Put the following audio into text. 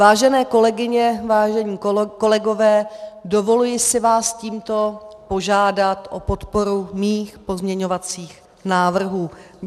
Vážené kolegyně, vážení kolegové, dovoluji si vás tímto požádat o podporu mých pozměňovacích návrhů.